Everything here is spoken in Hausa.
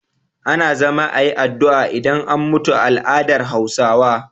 Ana zama ayi addu'a idan an mutu a al adar hausawa